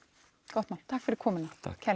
gott mál takk fyrir komuna